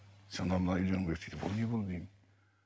сонда мынаны үйленуің керек дейді бұл не бұл деймін